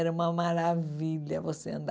Era uma maravilha você andar.